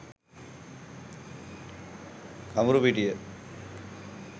kamburupitiya